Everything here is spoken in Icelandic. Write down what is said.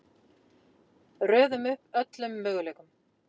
Röðum upp öllum möguleikum: